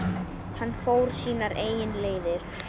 Hann fór sínar eigin leiðir.